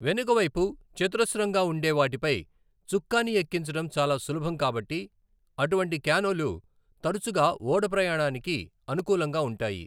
వెనుకవైపు చతురస్రంగా ఉండే వాటిపై చుక్కాని ఎక్కించడం చాలా సులభం కాబట్టి, అటువంటి క్యానోలు తరచుగా ఓడ ప్రయాణానికి అనుకూలంగా ఉంటాయి.